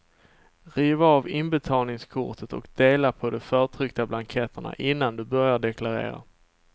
Riv av inbetalningskortet och dela på de förtryckta blanketterna innan du börjar deklarera.